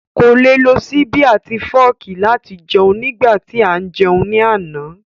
Kò le lo ṣíbí àti fọ́ọ̀kì láti jẹun nígbà tí à ń jẹun ní àná